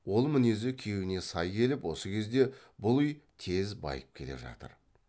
ол мінезі күйеуіне сай келіп осы кезде бұл үй тез байып келе жатыр